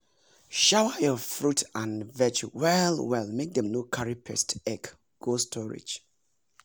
shower your fruit and veg well well make dem no carry pest egg go storage.